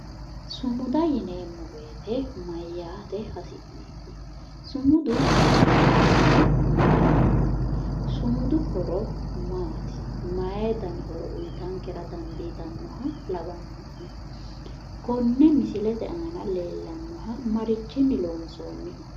Sumuda yineemmo woyite mayyaate hasi'neeti? Sumudu hasiisannohuno mayiraati? Sumudu horo maati? Mayi dani horo uyitankera dandiitannoha lawanno'ne? Konne misilete aana leellannoha marichinni loonsoonniho?